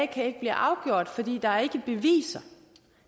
kan blive afgjort fordi der ikke er beviser